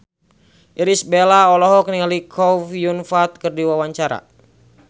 Irish Bella olohok ningali Chow Yun Fat keur diwawancara